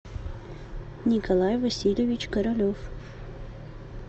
николай васильевич королев